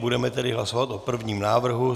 Budeme tedy hlasovat o prvním návrhu.